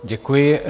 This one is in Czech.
Děkuji.